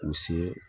U se